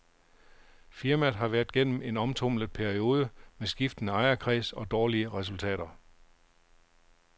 Firmaet har været gennem en omtumlet periode med skiftende ejerkreds og dårlige resultater.